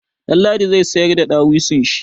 Ɗanladi zai sayar da dawisun shi.